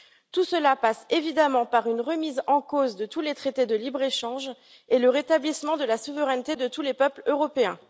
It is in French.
Tout cela passe évidemment par une remise en cause de tous les traités de libre échange et le rétablissement de la souveraineté de tous les peuples européens.